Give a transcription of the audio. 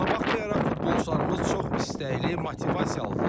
Buna baxmayaraq, futbolçularımız çox istəkli, motivasiyalıdırlar.